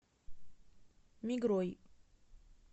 мигрой